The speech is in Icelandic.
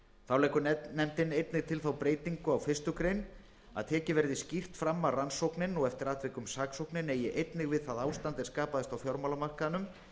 þá leggur nefndin einnig til þá breytingu á fyrstu grein að tekið verði skýrt fram að rannsóknin og eftir atvikum saksóknin eigi einnig við það ástand er skapaðist á fjármálamarkaðnum